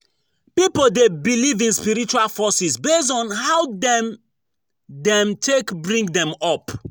Pipo de believe in spiritual forces based on how dem dem take bring dem up